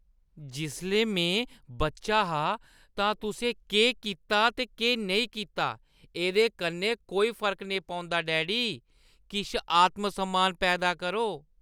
जिसलै में बच्चा हा तां तुसें केह् कीता ते केह् नेईं कीता, एह्दे कन्नै कोई फर्क नेईं पौंदा, डैडी। किश आत्म-सम्मान पैदा करो!